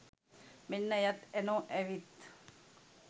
මෙන්න එයත් ඇනෝ ඇවිත්